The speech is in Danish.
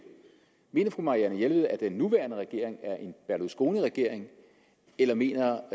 mener fru marianne jelved at den nuværende regering er en berlusconiregering eller mener